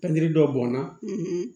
Pikiri dɔ bɔnna